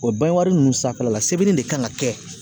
O ninnu sanfɛla la sɛbɛnni de kan ka kɛ